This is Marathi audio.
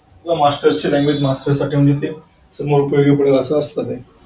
Master ची language Master साठी म्हणजे ते असं असत ते.